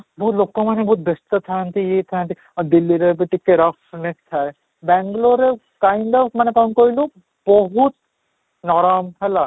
ବହୁତ ଲୋକ ମାନେ ବହୁତ ବ୍ୟସ୍ତ ଥାଆନ୍ତି ଏଇ ଥାଆନ୍ତି, ଆଉ ଦିଲ୍ଲୀର ଏବେ ଟିକେ rough ଥାଏ, ବାଙ୍ଗାଲୁରରେ kind up ମାନେ କ'ଣ କହିଲୁ ବହୁତ ନରମ ହେଲା